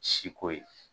Siko ye